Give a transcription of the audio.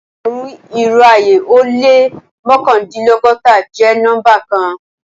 Ẹgbẹ̀run, irò ayé o lẹ́ mọkandinlọgọ́ta jẹ́ nọ́mbà kàn.